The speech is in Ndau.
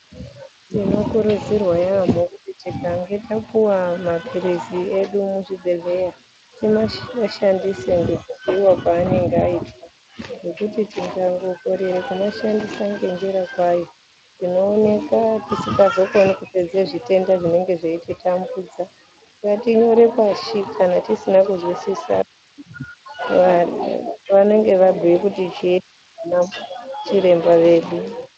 Tinokurudzirwa yamho kuti tikange tapuwa mapirizi edu muzvibhedhleya tima timashandise ngekubhuiwa kwaanenge aitwa ngekuti tikangokorere kumashandisa ngenjira kwayo tinooneka tisingazokoni kupedza zvitenda zvinenge zveititambudza .Ngatinyore pashi kuti kana tisina kuzwisisa va vanenge vabhuya kuti chii vanachiremba vedu.